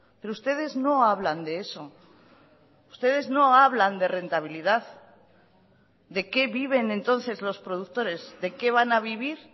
pero ustedes no hablan de eso ustedes no hablan de rentabilidad de qué viven entonces los productores de qué van a vivir